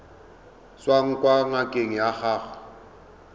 tswang kwa ngakeng ya gago